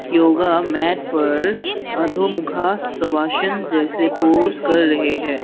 Yoga mat पर अधोमुखा सवाशन जैसे पोज कर रहे है।